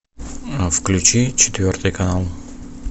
включи четвертый канал